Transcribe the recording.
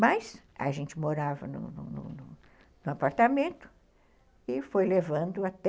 Mas a gente morava num apartamento e foi levando até...